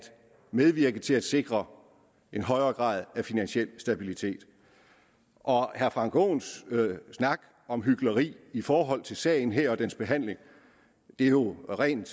medvirke til at sikre en højere grad af finansiel stabilitet herre frank aaens snak om hykleri i forhold til sagen her og dens behandling er jo det rene